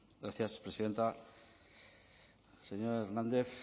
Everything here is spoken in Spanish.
gracias presidenta señor hernández